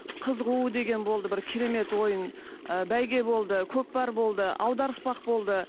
қыз қуу деген болды бір керемет ойын ы бәйге болды көкпар болды аударыспақ болды